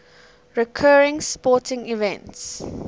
recurring sporting events